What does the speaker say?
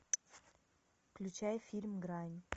включай фильм грань